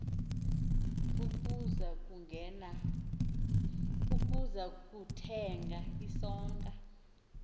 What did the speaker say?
ukuza kuthenga isonka